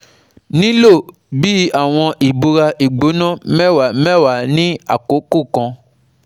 nilo bi awọn ibora igbona mẹwa mẹwa ni akoko kan